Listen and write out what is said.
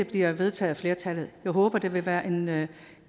bliver vedtaget af flertallet jeg håber der vil være en være